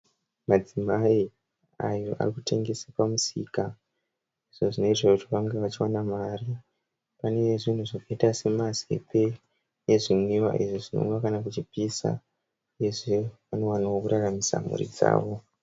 Madzimai ayo arikutengesa pamusika zvazvinoitirwa kuti vange vachiwana mari. Pane zvinhu zvakaita semazepe nezvinwiwa izvi zvinomwiwa kana kuchipisa. Uyezve vanowanawo kuraramisa mhuri dzavo.